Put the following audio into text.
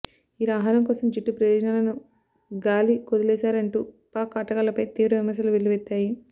ఇలా ఆహారం కోసం జట్టు ప్రయోజనాలను గాలికొదిలేశారంటూ పాక్ ఆటగాళ్లపై తీవ్ర విమర్శలు వెల్లువెత్తాయి